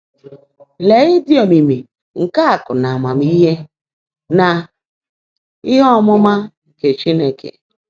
“LÉÉ ị́dị́ ómìimì nkè ákụ́̀ nà ámaàmíhé nà íhe ọ́mụ́má nkè Chínekè!